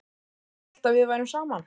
Ég hélt að við værum saman!